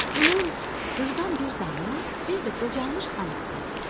Bunun qırdan bir damı, bir də qocalmış anası vardı.